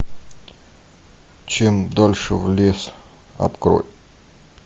чем дальше в лес открой